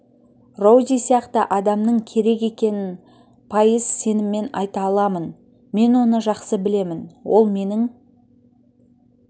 роузи сияқты адамның керек екенін пайыз сеніммен айта аламын мен оны жақсы білемін ол менің